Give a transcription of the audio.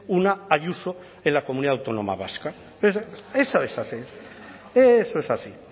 una ayuso en la comunidad autónoma vasca eso es así eso es así